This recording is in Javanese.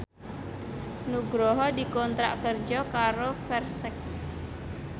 Nugroho dikontrak kerja karo Versace